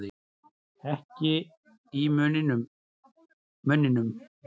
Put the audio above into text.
Ekki í munninum.